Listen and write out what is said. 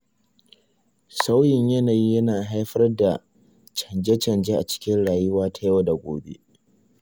Sauyin yanayi yana haifar da chanje-chanjen a cikin rayuwa ta yau da gobe.